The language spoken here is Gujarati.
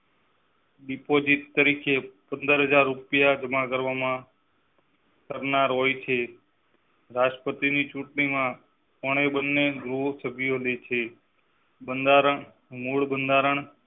Deposit તરીકે પંદર હજાર રૂપિયાજમાં કરવામાં કરનાર હોય છે રાષ્ટ્રપતિ ની ચુંટણી માં બંધારણ મૂળ બંધારણ